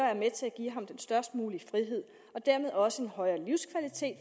er med til at give ham den størst mulige frihed og dermed også en højere livskvalitet